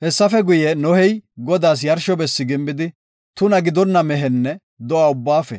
Hessafe guye, Nohey Godaas yarsho bessi gimbidi tuna gidonna mehenne do7a ubbaafe,